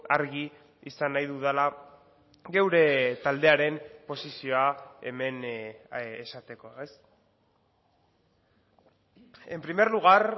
argi izan nahi dudala geure taldearen posizioa hemen esateko en primer lugar